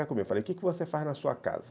Eu falo, o que você faz na sua casa?